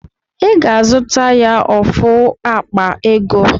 I ga-azụta ya ofu akpa ego